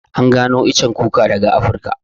An gano iccen kuka daga Afrika